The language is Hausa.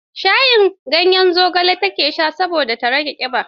Shayin ganyen zogale ta ke sha saboda ta rage ƙiba.